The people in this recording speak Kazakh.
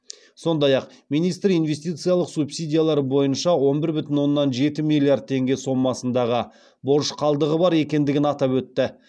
сондай ақ министр инвестициялық субсидиялар бойынша он бір бүтін оннан жеті миллиард теңге сомасындағы борыш қалдығы бар екендігін атап өтті